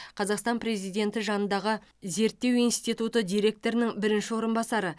қазақстан президенті жанындағы зерттеу институты директорының бірінші орынбасары